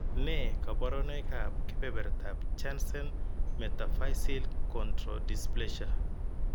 Nee kabarunoikab kebertab Jansen metaphyseal chondrodysplasia?